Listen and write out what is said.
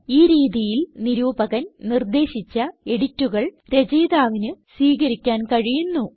ഈ രീതിയിൽ നിരൂപകൻ നിർദേശിച്ച എഡിറ്റുകൾ രചയിതാവിന് സ്വീകരിക്കാൻ കഴിയുന്നു